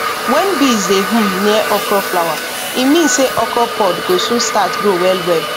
when bees dey hum near okra flower e mean say okra pod go soon start grow well well